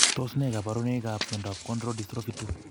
Tos ne kaborunoikap miondop Cone rod dystrophy 2?